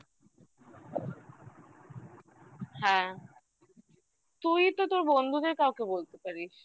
হ্যাঁ তুই তো তোর বন্ধুদের কাউকে বলতে পারিস